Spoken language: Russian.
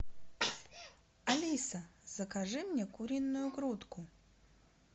алиса закажи мне куриную грудку